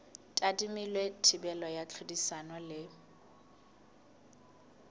tadimilwe thibelo ya tlhodisano le